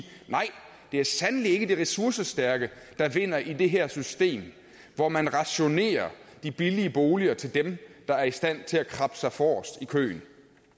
nej det er sandelig ikke de ressourcestærke der vinder i det her system hvor man rationerer de billige boliger til dem der er i stand til at krabbe sig forrest i køen